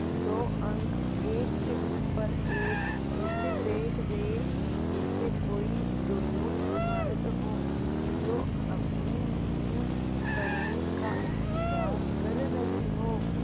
दो अंक एक के ऊपर एक ऐसे बैठ गये जैसे कोई ढुलमुल इमारत हो जो अपनी नींव भरने का इन्तज़ार कर रही हो